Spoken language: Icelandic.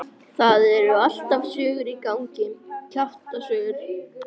Það eru alltaf sögur í gangi, kjaftasögur.